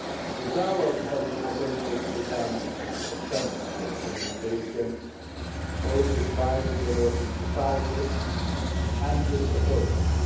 This dialogue has the potential to become a channel for communication, both with wider Belarusian society and with authorities.